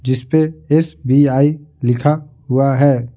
जिस पे S_ B_ I लिखा हुआ है।